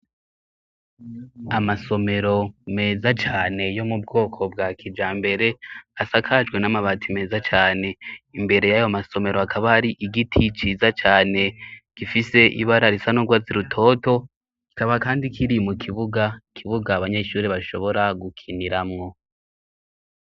Amasomero meza cane yo mu bwoko bwa kijambere asakajwe n'amabati meza cane. Imbere y'ayo masomero hakaba har'igiti ciza cane, gifise ibara risa n'urwatsi rutoto, kikaba kandi kiri mu kibuga abanyeshuri bashobora gukiniramwo.